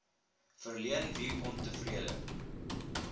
verleen wie ontevrede